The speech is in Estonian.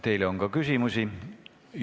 Teile on ka küsimusi.